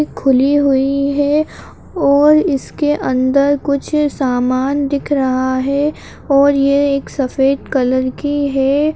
खुली हुई है और इसके अंदर कुछ सामान दिख रहा है और ये एक सफ़ेद कलर की है।